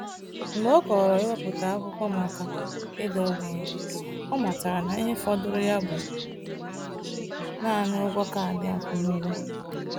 Mgbe ọ kọrọ iwepụta akwụkwọ maka ịda ogbenye, ọ matara na ihe fọdụrụ ya bụ naanị ụgwọ kaadị akwụmụgwọ.